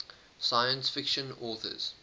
science fiction authors